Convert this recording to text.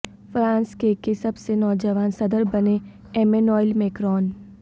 France کے کے سب سے نوجوان صدر بنے ایمینوئل میکرون